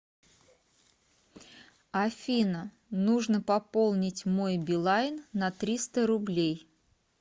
афина нужно пополнить мой билайн на триста рублей